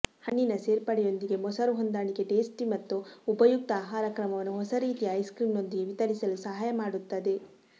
ಹಣ್ಣಿನ ಸೇರ್ಪಡೆಯೊಂದಿಗೆ ಮೊಸರು ಹೊಂದಾಣಿಕೆ ಟೇಸ್ಟಿ ಮತ್ತು ಉಪಯುಕ್ತ ಆಹಾರಕ್ರಮವನ್ನು ಹೊಸ ರೀತಿಯ ಐಸ್ಕ್ರೀಮ್ದೊಂದಿಗೆ ವಿತರಿಸಲು ಸಹಾಯ ಮಾಡುತ್ತದೆ